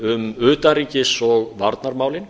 um utanríkis og varnarmálin